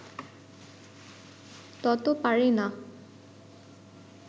তত পারে না